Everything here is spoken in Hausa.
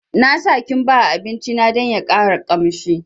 Na sa kimba a abinci na dan ya ƙara kamshi